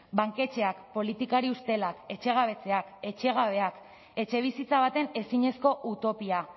banketxeak politikari ustelak etxegabetzeak etxegabeak etxebizitza baten ezinezko utopia